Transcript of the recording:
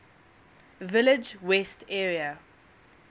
village west area